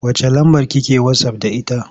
Wacce lambar ki ke wasaf da ita?